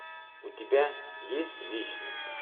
у тебя есть вечность